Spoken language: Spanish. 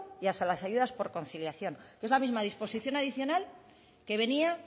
y a las ayudas por conciliación es la misma disposición adicional que venía